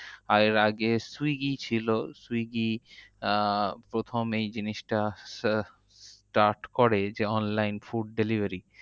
এর আগে swiggy ছিল, swiggy আহ প্রথম এই জিনিসটা আহ start করে যে, online food delivery.